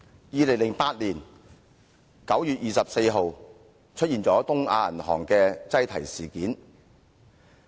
2008年9月24日出現了東亞銀行的擠提事件。